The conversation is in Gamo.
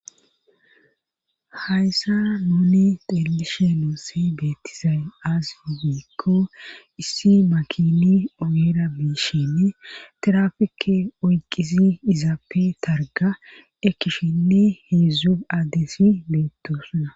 hayssa nuni teelishe noossi beettizay aazife biikko issi makini oyera biishinn terafeke oyqisi izaappe targa ekkishinni heedzdzu addesi beettosuna